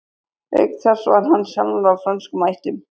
Auk þess var hann sjálfur af frönskum ættum.